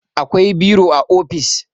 akwai biro a ofis